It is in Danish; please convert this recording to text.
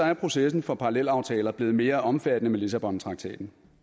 er processen for parallelaftaler blevet mere omfattende med lissabontraktaten